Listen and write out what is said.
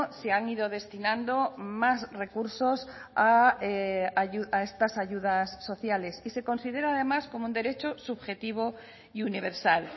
se han ido destinando más recursos a estas ayudas sociales y se considera además como un derecho subjetivo y universal